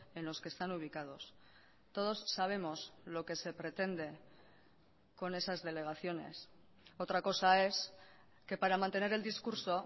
en los que están ubicados todos sabemos lo que se pretende con esas delegaciones otra cosa es que para mantener el discurso